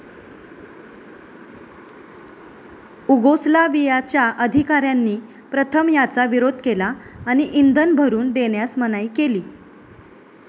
उगोस्लावियाच्या अधिकाऱ्यांनी प्रथम याचा विरोध केला आणि इंधन भरून देण्यास मनाई केली.